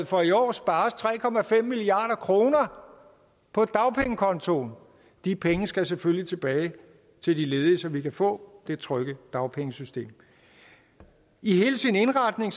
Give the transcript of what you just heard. for i år spares tre milliard kroner på dagpengekontoen de penge skal selvfølgelig tilbage til de ledige så vi kan få det trygge dagpengesystem i hele sin indretning